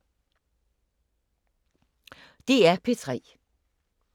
DR P3